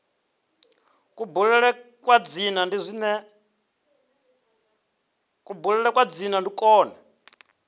kubulele kwa dzina ndi kwone